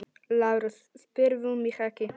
LÁRUS: Spyrðu mig ekki!